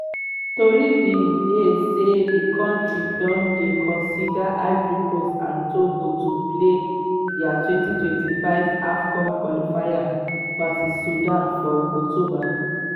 tori bin dey say di kontri don dey consider ivory coast and togo to play dia 2025 afcon qualifier vs sudan for october.